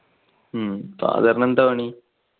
father എന്താ പണി?